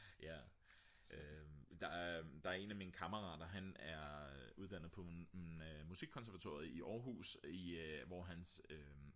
der er en af mine kammerater han er uddannet på musikkonservatoriet i Aarhus hvor hans